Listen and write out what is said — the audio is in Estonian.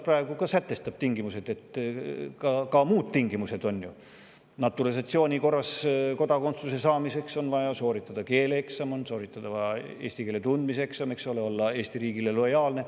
Praegu sätestab kodakondsuse seadus ka muud tingimused kodakondsuse saamiseks naturalisatsiooni korras: on vaja sooritada keeleeksam, eesti keele tundmise eksam ning olla Eesti riigile lojaalne.